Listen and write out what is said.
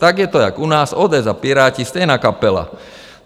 Tak je to jak u nás, ODS a Piráti, stejná kapela.